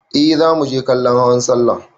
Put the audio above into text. Eh za muje kallon hawan sallah.